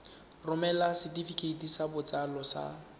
romela setefikeiti sa botsalo sa